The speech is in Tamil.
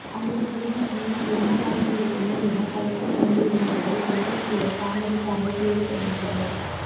அந்தச் சிறுமிக்கு என்னவாகியிருக்குமோ எனப் பதற்றமடைந்த இளைஞர்கள் கொஞ்சம்கூட தாமதிக்காமல் தேடத் தொடங்கினர்